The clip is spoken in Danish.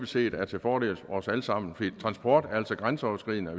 set er til fordel for os alle sammen for transport er altså grænseoverskridende og